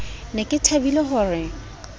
ne ke thabile ho re